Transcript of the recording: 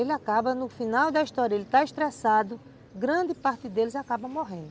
Ele acaba no final da história, ele está estressado, grande parte deles acaba morrendo.